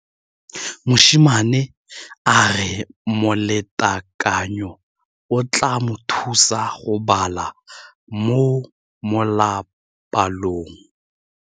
Mosimane a re molatekanyô o tla mo thusa go bala mo molapalong.